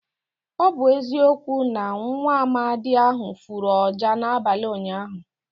Ọ bụ eziokwu na nwaamadi ahụ fụrụ ọjà n'abalị ụnyaahụ.